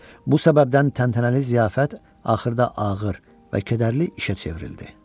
Bu səbəbdən təntənəli ziyafət axırda ağır və kədərli işə çevrildi.